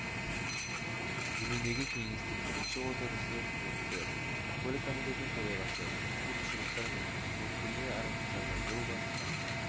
жөніндегі кеңестің бірінші отырысы өтті көлік комитетінің төрағасы құқық бұзушылықтар мен қызметкерлер арасындағы жыл басынан